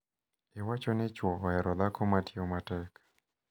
iwacho ni chwo ohero dhako ma tiyo matek.